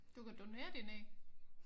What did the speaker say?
Du kan donere dine æg